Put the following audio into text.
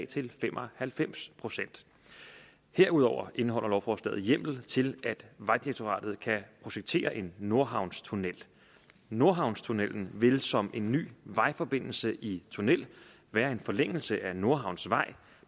til fem og halvfems procent herudover indeholder lovforslaget hjemmel til at vejdirektoratet kan projektere en nordhavnstunnel nordhavnstunnellen vil som en ny vejforbindelse i tunnel blive en forlængelse af nordhavnsvej